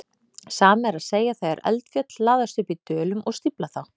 Sama er að segja þegar eldfjöll hlaðast upp í dölum og stífla þá.